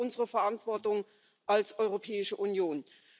Das wäre unsere Verantwortung als Europäische Union.